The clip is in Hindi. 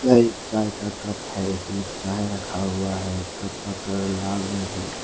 यह एक चाय का कप है इसमें चाय रखा हुआ है कप का कलर लाल में है।